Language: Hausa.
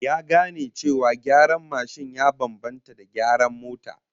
Ya gane cewa gyaran mashin ya bambanta da gyaran mota